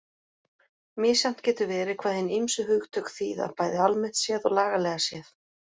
Misjafnt getur verið hvað hin ýmsu hugtök þýða bæði almennt séð og lagalega séð.